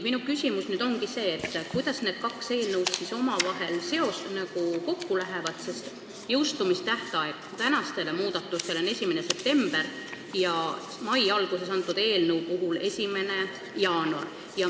Minu küsimus ongi see, kuidas need kaks eelnõu omavahel kokku lähevad, sest täna arutatavate muudatuste jõustumistähtaeg on 1. september ja mai alguses üle antud eelnõu puhul 1. jaanuar.